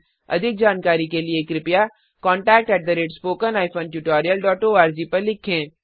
अधिक जानकारी के लिए कृपया contactspoken tutorialorg को लिखें